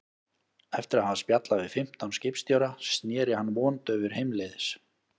Eftir að hafa spjallað við fimmtán skipstjóra sneri hann vondaufur heimleiðis.